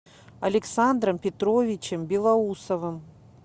александром петровичем белоусовым